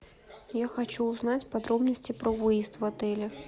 я хочу узнать подробности про выезд в отеле